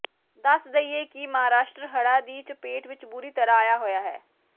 ਦੱਸ ਦਈਏ ਕਿ ਮਹਾਰਾਸ਼ਟਰ ਹੜ੍ਹਾਂ ਦੀ ਚਪੇਟ ਵਿਚ ਬੁਰੀ ਤਰ੍ਹਾਂ ਆਇਆ ਹੋਇਆ ਹੈ